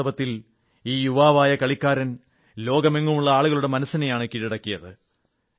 വാസ്തവത്തിൽ ഈ യുവവായ കളിക്കാരൻ ലോകമെങ്ങുമുള്ള ആളുകളുടെ മനസ്സനെയാണ് കീഴടക്കിയത്